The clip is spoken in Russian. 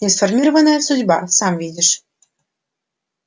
несформированная судьба сам видишь